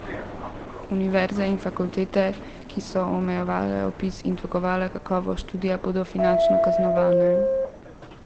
Univerze in fakultete, ki so omejevale vpis in dvigovale kakovost študija, bodo finančno kaznovane.